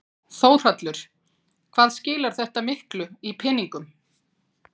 Þórhallur: Hvað skilar þetta miklu í peningum?